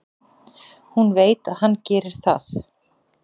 Hún veit að hann gerir það.